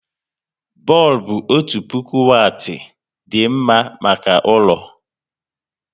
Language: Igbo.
Bọlbụ otu puku wati dị mma maka ụlọ